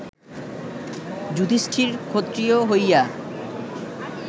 যুধিষ্ঠির ক্ষত্রিয় হইয়া